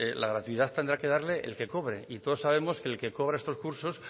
la gratuidad tendrá que darle el que cobre y todos sabemos que el que cobra estos cursos